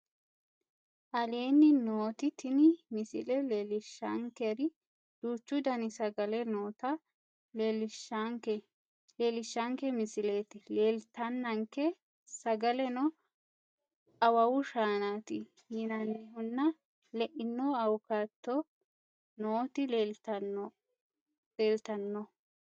Aleenni nooti tini misile leellishaankeri duuchu danni sagale noota leellishaanke misilete leellitaanke sagaleno awawu shaanaatti yinannihunna le'inno awukaato nootti leelitanno